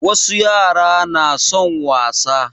Wasu yara na son wasa